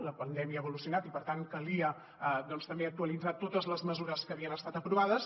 la pandèmia ha evolucionat i per tant calia doncs també actualitzar totes les mesures que havien estat aprovades